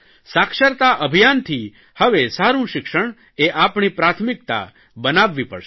સાક્ષરતા અભિયાનથી હવે સારૂં શિક્ષણ એ આપણી પ્રાથમિકતા બનાવવી પડશે